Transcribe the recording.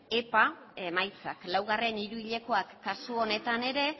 epa emaitzak laugarren hiruhilekoak kasu honetan ere